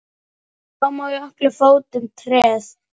Glámu á jökli fótum treð.